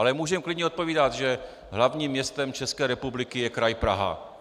Ale můžeme klidně odpovídat, že hlavním městem České republiky je Kraj Praha.